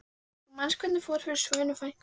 Þú manst hvernig fór fyrir Svönu frænku minni.